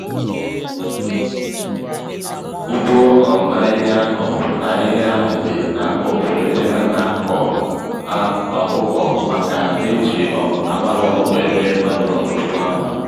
ugbo um ahịhịa ahụ ahịhịa ahụ dị n'akụkụ ebe ana-akọ á ọkụkọ maka n'eji um àkpala ọkụkọ eme manụo n'ugbo ahụ